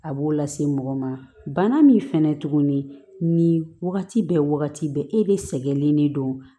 A b'o lase mɔgɔ ma bana min fɛnɛ tuguni ni wagati bɛɛ wagati bɛɛ e de sɛgɛnnen de don